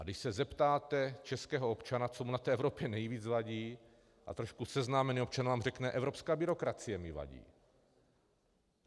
A když se zeptáte českého občana, co mu na té Evropě nejvíc vadí, tak trošku seznámený občan vám řekne - evropská byrokracie mi vadí.